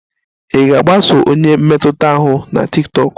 Ị ga-agbaso onye mmetụta ahụ na tiktokụ?